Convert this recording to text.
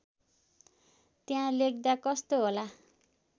त्यहाँ लेख्दा कस्तो होला